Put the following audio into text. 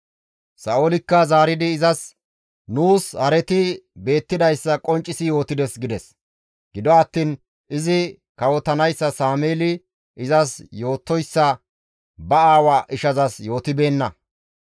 Sa7oolikka zaaridi izas, «Nuus hareti beettidayssa qonccisi yootides» gides; gido attiin izi kawotanayssa Sameeli izas yootoyssa ba aawaa ishazas yootibeenna.